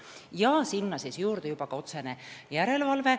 Ja sinna juurde tuleb ka otsene järelevalve.